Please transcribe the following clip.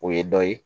O ye dɔ ye